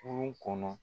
Kurun kɔnɔ